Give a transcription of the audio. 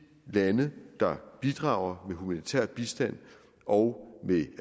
lande der bidrager med humanitær bistand og med